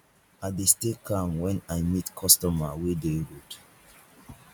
i dey stay calm wen i meet customer wey dey rude